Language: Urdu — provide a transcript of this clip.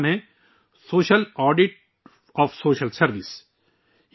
کتاب کا نام ہے social audit of social service